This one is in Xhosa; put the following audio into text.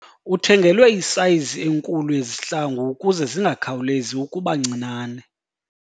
Uthengelwe isayizi enkulu yezihlangu ukuze zingakhawulezi ukuba ncinane.